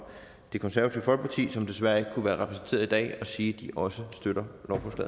det konservative folkeparti som desværre ikke kunne være repræsenteret i dag og sige at de også støtter